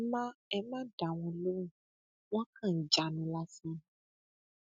ẹ má ẹ má dá wọn lóhùn wọn kàn ń jánu lásán ni